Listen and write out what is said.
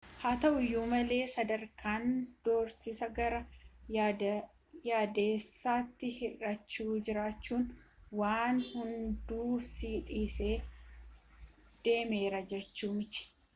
haa ta'uuyyu malee sadarkaan doorsisa gara yaadessatti hir'aachu jechuun waan hundu si dhisee deemera jechuu miti